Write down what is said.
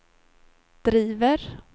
driver